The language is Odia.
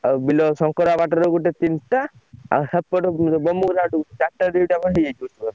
ଆଉ ବିଲ ଶଙ୍କରା ବାଟରେ ଗୋଟେ ତିନିଟା ଆଉ ସେପଟ ଦିଟା କ ହେଇଯାଇଚି